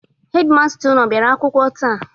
Hedi masta unu abịara akwụkwọ taa?